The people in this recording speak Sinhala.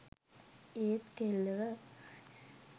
ඒත් කෙල්ලව